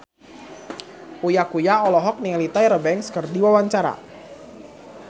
Uya Kuya olohok ningali Tyra Banks keur diwawancara